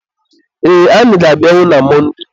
ee, anyị ga-abịanwu na Monde